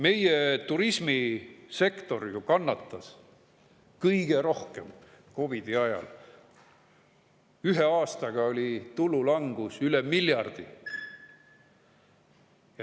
Meie turismisektor kannatas COVID‑i ajal ju kõige rohkem, ühe aastaga oli tulu langus üle miljardi.